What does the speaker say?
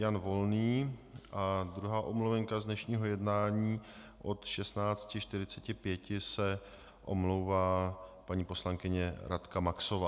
Jan Volný a druhá omluvenka z dnešního jednání, od 16.45 se omlouvá paní poslankyně Radka Maxová.